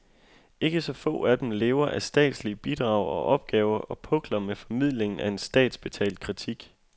Ikke så få af dem lever af statslige bidrag og opgaver og pukler med formidlingen af en statsbetalt kritik.